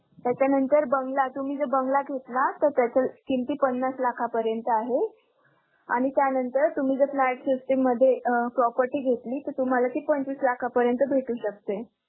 त्याच्या नंतर बंगला~ तुम्ही बंगला घेतला तर त्याचे किंमती पन्नास लाखांपर्यंत आहे आणि त्यानंतर तुम्ही जर flat system मध्ये property घेतली तर तुम्हांला पंचवीस लाखापर्यंत भेटू शकते.